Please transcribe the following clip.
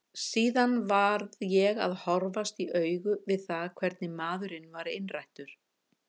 Síðar varð ég að horfast í augu við það hvernig maðurinn var innrættur.